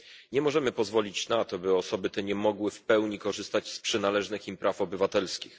Nie możemy pozwolić na to, by osoby te nie mogły w pełni korzystać z przynależnych im praw obywatelskich.